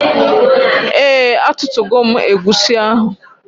Ee atụtugo m egwusi ahụ.